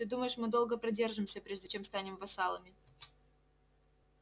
ты думаешь мы долго продержимся прежде чем станем вассалами